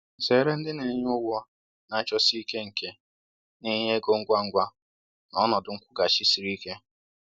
Zere ndị na-enye ụgwọ na-achọsi ike nke na-enye ego ngwa ngwa na ọnọdụ nkwụghachi siri ike